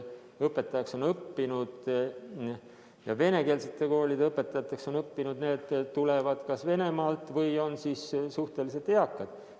Järelikult need, kes venekeelsete koolide õpetajaks on õppinud, tulevad kas Venemaalt või on suhteliselt eakad.